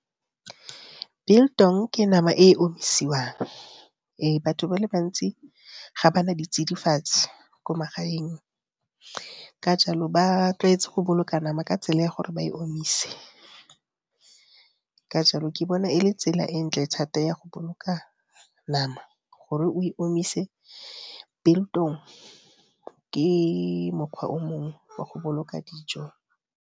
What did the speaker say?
Biltong ke nama e omisiwang, batho ba le bantsi ga ba na ditsidifatsi ko magaeng, ka jalo ba tlwaetse go boloka nama ka tsela ya gore ba e omise, ka jalo ke bona e le tsela e ntle thata ya go boloka nama gore o e omise. Biltong ke mokgwa o mongwe wa go boloka dijo